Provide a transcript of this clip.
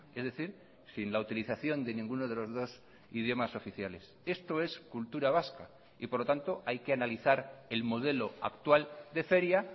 es decir sin la utilización de ninguno de los dos idiomas oficiales esto es cultura vasca y por lo tanto hay que analizar el modelo actual de feria